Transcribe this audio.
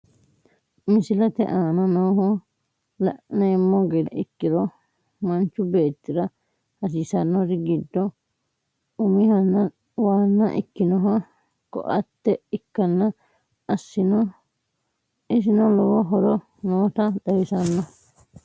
MIISlete aana nooha laanemo geede ekkiro maanchu beetira haasisanori giido uumhana waana ekkinoha kooatee ekkana essino loowo hooro noota xawisasno.